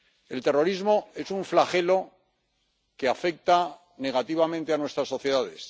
El terrorismo es un flagelo que afecta negativamente a nuestras sociedades.